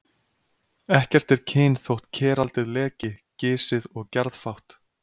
Ekkert er kyn þótt keraldið leki, gisið og gjarðfátt.